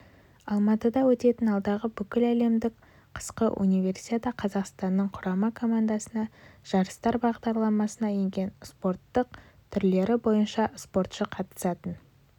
алматыда өтетін алдағы бүкіләлемдік қысқыуниверсиадағақазақстанның құрама командасынан жарыстар бағдарламасына енген спорттың барлық түрлері бойынша спортшы қатысатын